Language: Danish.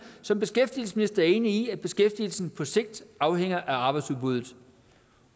som beskæftigelsesminister enig i at beskæftigelsen på sigt afhænger af arbejdsudbuddet